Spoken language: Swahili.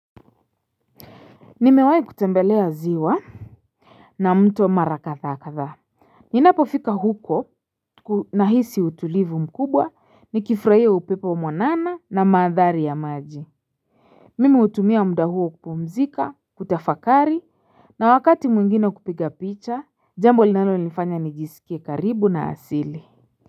Nimewahi kutembelea ziwa na mto wa mara kadha kadha a Ninapofika huko nahisi utulivu mkubwa nikifurahia upepo mwanana na mandhari ya maji Mimih utumia muda huo kupumzika kutafakari na wakati mwingine kupiga picha jambo linalonifanya nijisikie karibu na asili.